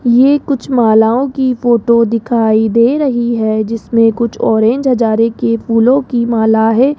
ये कुछ मालाओं की फोटो दिखाई दे रही है जिसमें कुछ ऑरेंज हजारे के फूलों की माला है।